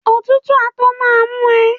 Òtútù á tó má mú ẹ